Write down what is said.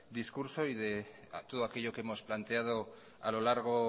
discurso y de todo aquello que hemos planteado a lo largo